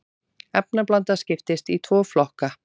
efnablanda skiptist í tvo flokka